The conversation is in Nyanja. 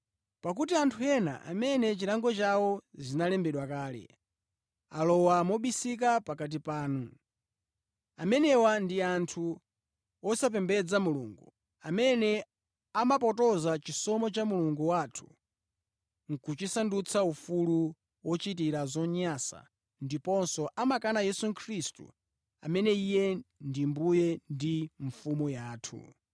Pakuti anthu ena amene za chilango chawo zinalembedwa kale, alowa mobisika pakati panu. Amenewa ndi anthu osapembedza Mulungu, amene amapotoza chisomo cha Mulungu wathu kuchisandutsa ufulu ochitira zonyansa ndiponso amakana Yesu Khristu amene Iye ndiye Mbuye ndi Mfumu yathu.